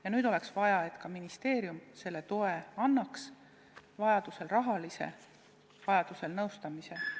Ja nüüd oleks vaja, et ministeerium selle toe annaks – annaks vajadusel raha, vajadusel võimaluse nõustamist saada.